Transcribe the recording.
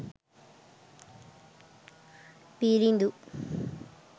viridu